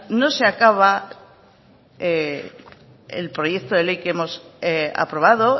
no se acaba el proyecto de ley que hemos aprobado